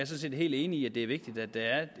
set helt enig i at det er vigtigt at der er